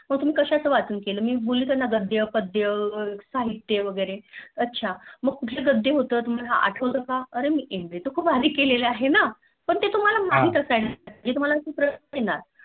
मग तुम्ही कश्याच वाचन केले. मी बोलली त्याना गद्य पद्य साहित्य वैगेरे अच्छा मग कुठलं गद्य होत तुम्हाला आठवत का अरे मीं MA तर खूप आधी केलेलं आहे ना. पण ते तुम्हला माहित असायला पाहिजे